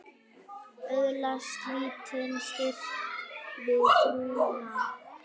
Öðlast lítinn styrk við trúna.